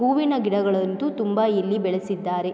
ಹೂವಿನ ಗಿಡಗಳಂತು ತುಂಬಾ ಇಲ್ಲಿ ಬೆಳೆಸಿದ್ದಾರೆ.